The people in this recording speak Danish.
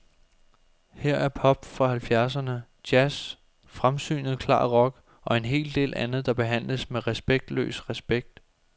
Her er pop fra halvfjerdserne, jazz, fremsynet klar rock og en hel del andet, der behandles med respektløs respekt.